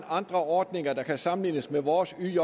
andre ordninger der kan sammenlignes med vores yj